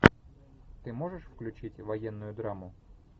ты можешь включить военную драму